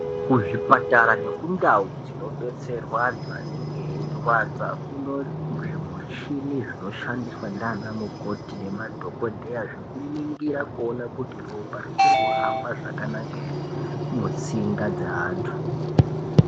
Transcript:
Kuzvipatara nekundau dzinodetserwa antu anenge eirwara kune zvimishini zvinoshandiswa ndiana mukoti nemadhokodheya zvekuningira kuona kuti ropa richiri kuhamba zvakanaka ere mutsinga dzeantu.